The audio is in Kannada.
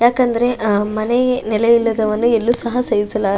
ಯಾಕಂದ್ರೆ ಅಹ್ ಮನೆ ನೆಲೆ ಇಲ್ಲದವನು ಎಳ್ಳು ಸಹ ಸೇವಿಸ --